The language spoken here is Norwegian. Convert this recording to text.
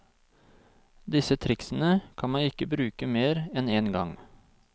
Disse triksene kan man ikke bruke mer enn en gang.